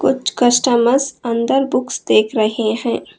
कुछ कस्टमरस अंदर बुकस देख रहे हैं।